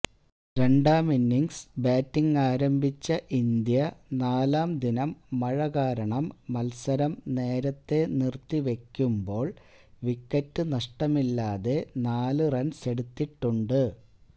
രണ്ടാമിന്നിങ്സ് ബാറ്റിങാരംഭിച്ച ഇന്ത്യ നാലാംദിനം മഴ കാരണം മല്സരം നേരത്തേ നിര്ത്തി വയ്ക്കുമ്പോള് വിക്കറ്റ് നഷ്ടമില്ലാതെ നാലു റണ്സെടുത്തിട്ടുണ്ട്